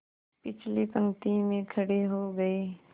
पिछली पंक्ति में खड़े हो गए